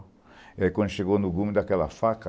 Aí quando chegou no gume daquela faca,